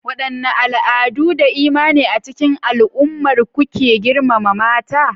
Wadanne al'adu da imani a cikin al'ummar ku ke girmama mata?